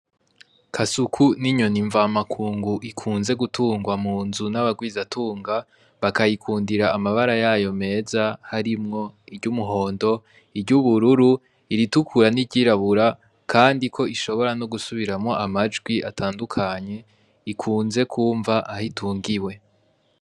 Kasuku n'inyoni mva makungu ikunzwe gutungwa munzu n'abagwiza tunga, bakayikundira amabara yayo meza harimwo; iry'umihondo, iry'ubururu, iritukura n'iryirabura kandi k o ishobora no gusubiramwo amajwi atandukanye ikunze kumva Aho itungiwe.